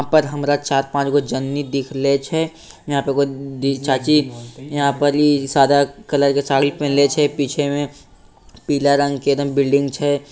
यहाँ पर हमरा चार पांच गो जननी दिख रहले छै यहाँ पे एगो दी चाची यहाँ पर इ सादा कलर के साड़ी पहिनले छै। पीछे में पीला रंग के एकदम बिल्डिंग छै।